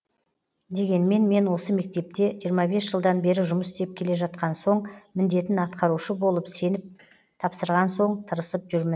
дегенмен мен осы мектепте жиырма бес жылдан бері жұмыс істеп келе жатқан соң міндетін атқарушы болып сеніп тапсырған соң тырысып жүрмін